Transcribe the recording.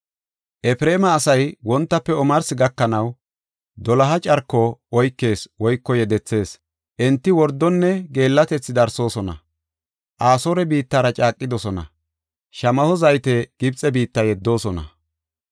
Efreema asay wontafe omarsi gakanaw doloha carko oykees woyko yedethees. Enti wordonne geellatethi darsoosona; Asoore biittara caaqidosona; shamaho zayte Gibxe biitta yeddoosona.